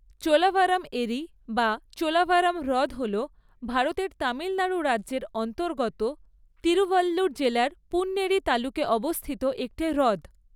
চোলাভরম এরি বা চোলাভরম হ্রদ হল ভারতের তামিলনাড়ু রাজ্যের অন্তর্গত তিরুভাল্লুর জেলার পুন্নেরি তালুকে অবস্থিত একটি হ্রদ।